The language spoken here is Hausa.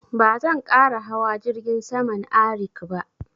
Ba zan ƙara hawa jirgin saman Arik ba